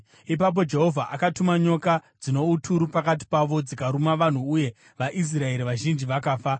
Ipapo Jehovha akatuma nyoka dzino uturu pakati pavo, dzikaruma vanhu uye vaIsraeri vazhinji vakafa.